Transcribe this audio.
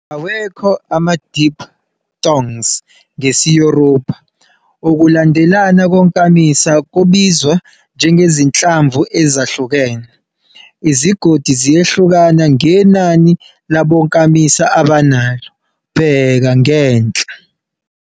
Awekho ama-diphthongs ngesi-Yoruba, ukulandelana konkamisa kubizwa njengezinhlamvu ezihlukene. Izigodi ziyahluka ngenani labokamisa abanalo, bheka ngenhla.